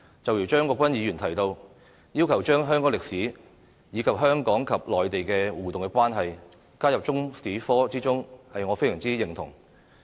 正如張國鈞議員提到，要求將香港歷史，以及香港與內地的互動關係加入中史科之中，我非常認同。